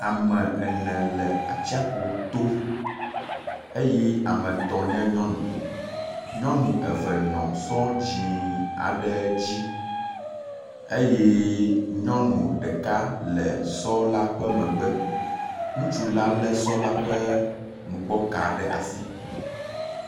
Ame ene le atsiaƒu to eye ame etɔ̃ nye nyɔnu. Nyɔnu eve nɔ esɔ dzɛ̃ aɖe dzi eye nyɔnu ɖeka le sɔ la ƒe megbe. Ŋutsu la lé sɔ la ƒe nugbɔ ka ɖe asi.